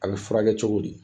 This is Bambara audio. A bi furakɛ cogo di?